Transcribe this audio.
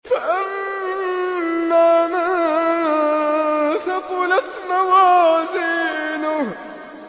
فَأَمَّا مَن ثَقُلَتْ مَوَازِينُهُ